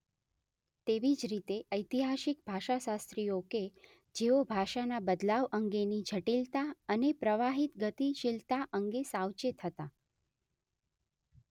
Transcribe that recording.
તેવી જ રીતે ઐતિહાસિક ભાષાશાસ્ત્રીઓ કે જેઓ ભાષાના બદલાવ અંગેની જટિલતા અને પ્રવાહિત ગતિશીલતા અંગે સાવચેત હતા